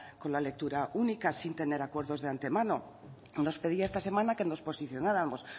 con la lectura única sin tener acuerdos de antemano nos pedía esta semana que nos posicionáramos